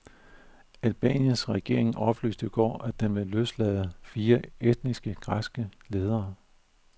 Albaniens regering oplyste i går, at den vil løslade fire etniske, græske ledere.